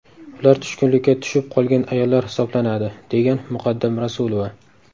Ular tushkunlikka tushib qolgan ayollar hisoblanadi”, degan Muqaddam Rasulova.